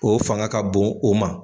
O fanga ka bon o ma.